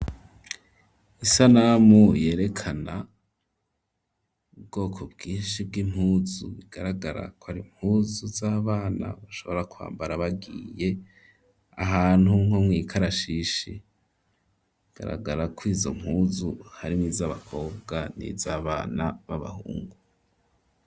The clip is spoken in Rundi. Isanamu yerekana ubwoko bwishi bw'impuzu bigaragara ko ari mpuzu z'abana bashobora kwambara bagiye ahantu nko mwikarashishi bigaragara ko izo mpuzu hari mwizabakobwa n'izabana b'abahungu.